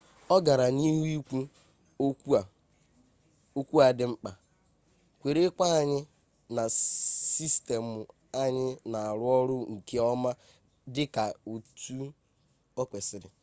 ọ gara n'ihu ikwu okwu a dị mkpa kwere nkwa anyị na sistemụ anyị na-arụ ọrụ nke ọma dị ka etu o kwesịrị